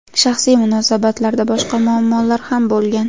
Shaxsiy munosabatlarda boshqa muammolar ham bo‘lgan.